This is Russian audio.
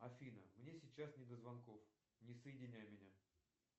афина мне сейчас не до звонков не соединяй меня